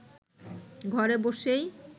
ঘরে বসেই